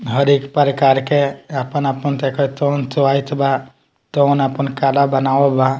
हर एक प्रकार के अपन-अपन जेकर कौन चॉइस बा तोन अपन कला बनाव बा।